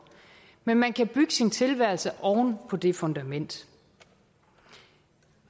men man kan bygge sin tilværelse oven på det fundament